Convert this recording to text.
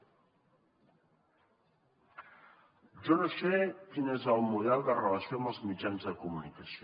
jo no sé quin és el seu model de relació amb els mitjans de comunicació